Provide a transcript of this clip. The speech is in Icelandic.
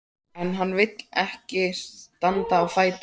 En hann vill ekki standa á fætur.